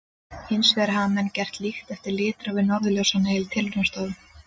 Hins vegar hafa menn getað líkt eftir litrófi norðurljósanna í tilraunastofum.